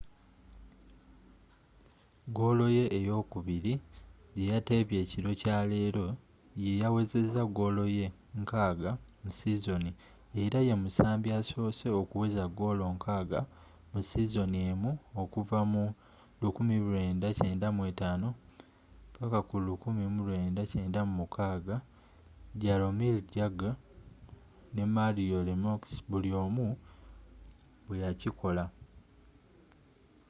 goolo ye ey'okubiri gye yateebye ekiro kya leero yeyawezezza goolo ye 60 mu sizoni era ye musambi asoose okuweza goolo 60 mu sizoni emu okuva mu 1995-1996 jaromir jagr nne mario lemieux buli omu bwe yakikola